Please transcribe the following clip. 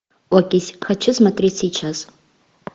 окись хочу смотреть сейчас